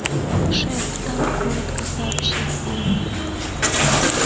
шеф там коротко сообщил он